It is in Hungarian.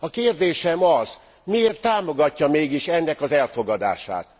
A kérdésem az, miért támogatja mégis ennek az elfogadását.